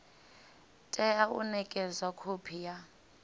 tea u nekedzwa khophi ya